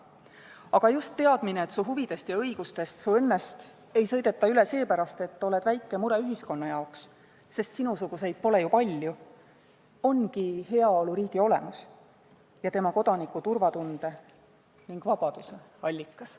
Aga just teadmine, et sinu huvidest ja õigustest, sinu õnnest ei sõideta üle põhjendusel, et oled ühiskonna jaoks väike mure – sest sinusuguseid pole ju palju –, ongi heaoluriigi olemus ning kodanike turvatunde ja vabaduse allikas.